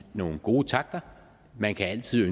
nogle gode takter man kan altid